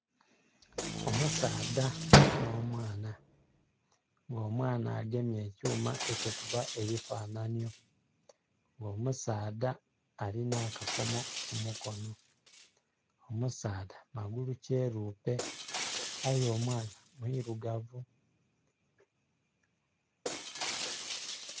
Omusaadha nho mwaana nga omwaana agemye ekyuma ekikubba ebifananhi, omusaadha alina akakomo ku mukonho. Omusaadha magulu kyerupe aye omwaana mwirugavu.